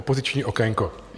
Opoziční okénko...